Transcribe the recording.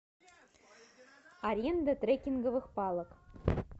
аренда трекинговых палок